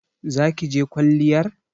Za ki je kwalliyar?